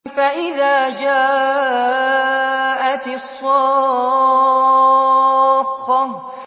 فَإِذَا جَاءَتِ الصَّاخَّةُ